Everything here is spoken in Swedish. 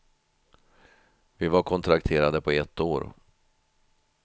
Vi var kontrakterade på ett år.